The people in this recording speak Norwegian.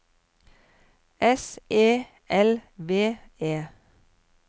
S E L V E